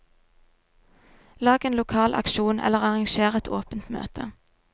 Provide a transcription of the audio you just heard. Lag en lokal aksjon eller arranger et åpent møte.